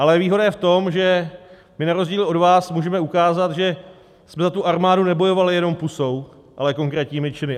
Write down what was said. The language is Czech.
Ale výhoda je v tom, že my na rozdíl od vás můžeme ukázat, že jsme za tu armádu nebojovali jenom pusou, ale konkrétními činy.